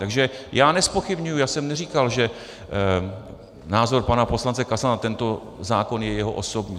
Takže já nezpochybňuji - já jsem neříkal, že názor pana poslance Kasala na tento zákon je jeho osobní.